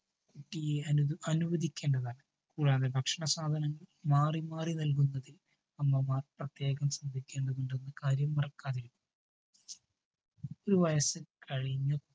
കുട്ടിയെ അനുവദിക്കേണ്ടതാണ്. കൂടാതെ ഭക്ഷണ സാധനങ്ങൾ മാറി മാറി നൽകുന്നതിൽ അമ്മമാർ പ്രത്യേകം ശ്രദ്ധിക്കേണ്ടതുണ്ടെന്ന കാര്യം മറക്കാതിരിക്കുക. ഒരു വയസ്സു കഴിഞ്ഞു